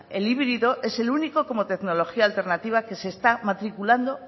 el híbrido es el único como tecnología alternativa que se está matriculando